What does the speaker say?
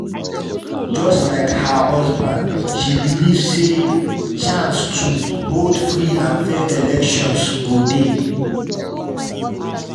just like her husband she believe say chance to hold free and fair elections go dey.